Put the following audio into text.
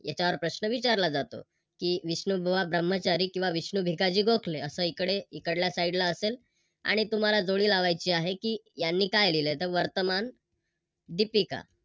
याच्यावर प्रश्न विचारला जातो की विष्णुबुवा ब्रह्मचारी किव्हा विष्णू भिकाजी गोखले अस इकडे इकडल्या Side असेल आणि तुम्हाला जोडी लावायची आहे कि त्यांनी काय लिहले वर्तमान दिपिका.